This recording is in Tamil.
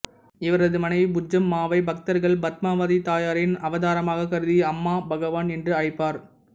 இவரது மனைவி புஜ்ஜம்மாவை பக்தர்கள் பத்மாவதி தாயாரின் அவதராமாக கருதி அம்மா பகவான் என்று அழைப்பர்